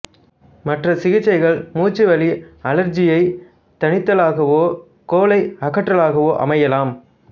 மற்ற சிகிச்சைகள் மூச்சுவழி அழற்சியைத் தணித்தலாகவோ கோழை அகற்றலாகவோ அமையலாம்